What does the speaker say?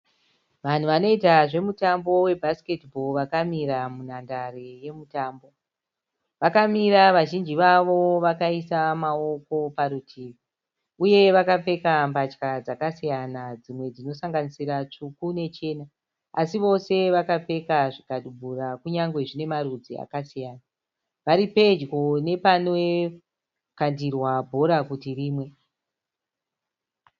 Vanhu vanoita zvemutambo webhasiketi bhora vakamira munhandare yemutambo. Vakamira vazhinji vavo vakaisa maoko parutivi uye vakapfeka mbatya dzakasiyana dzimwe dzinosanganisira tsvuku nechena. Asi vose vakapfeka zvikadubura kunyangwe zvine marudzi akasiyana. Vari pedyo nepanokandirwa bhora kuti rimwe.